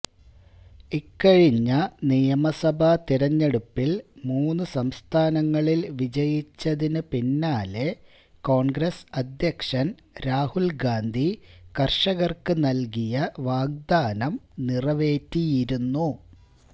ഇക്കഴിഞ്ഞ നിയമസഭാ തിരഞ്ഞെടുപ്പില് മൂന്ന് സംസ്ഥാനങ്ങളില് വിജയിച്ചതിന് പിന്നാലെ കോണ്ഗ്രസ് അധ്യക്ഷന് രാഹുല് ഗാന്ധി കര്ഷകര്ക്ക് നല്കിയ വാഗ്ദാനം നിറവേറ്റിയിരുന്നു